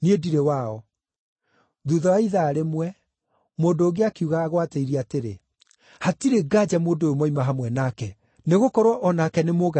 Thuutha wa ithaa rĩmwe, mũndũ ũngĩ akiuga agwatĩirie atĩrĩ, “Hatirĩ nganja mũndũ ũyũ moima hamwe nake, nĩgũkorwo o nake nĩ Mũgalili.”